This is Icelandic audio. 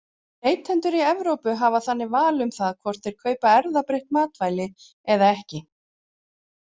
Neytendur í Evrópu hafa þannig val um það hvort þeir kaupa erfðabreytt matvæli eða ekki.